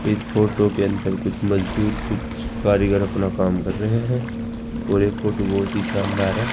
इस फोटो के अंदर कुछ मजदूर कुछ कारीगर अपना काम कर रहे हैं और ये फोटो बहोत ही शानदार है।